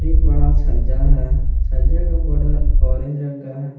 एक बड़ा छज्जा है छज्जा का बॉर्डर ऑरेंज रंग का है।